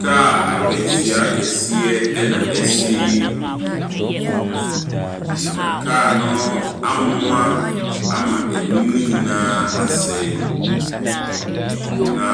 Kaa akwanhyia kɛseɛ na asi. Na kaa no amoa ama anim no nyinaa asɛe. Na